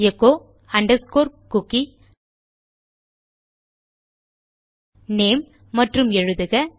echo underscore cookie name மற்றும் எழுதுக